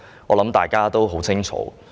我相信大家也很清楚。